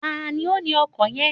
Tani ó ni ọkọ̀ yen?